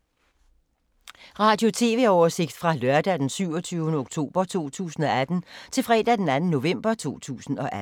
Radio/TV oversigt fra lørdag d. 27. oktober 2018 til fredag d. 2. november 2018